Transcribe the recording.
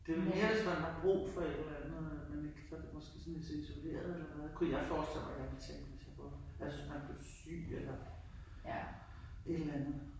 Det vel mere hvis man har brug for et eller andet at man ikke kan få det måske sådan set isoleret kunne jeg forestille mig jeg ville tænke hvis jeg boede der ja hvis man blev syg eller et eller andet